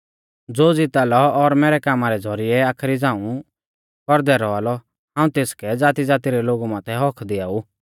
ज़ो ज़िता लौ और मैरै कामा रै ज़ौरिऐ आखरी झ़ांऊ कौरदै रौआ लौ हाऊं तेसकै ज़ातीज़ाती रै लोगु माथै हक्क दिआऊ